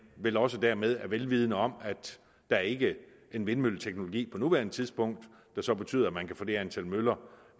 vel også dermed er vel vidende om at der ikke er den vindmølleteknologi på nuværende tidspunkt der så betyder at man kan få det antal møller